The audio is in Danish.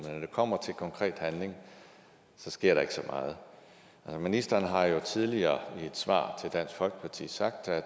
når det kommer til konkret handling sker der ikke så meget ministeren har jo tidligere i et svar til dansk folkeparti sagt at